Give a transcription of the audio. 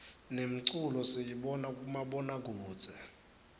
nemculo siyibona kumabona kudze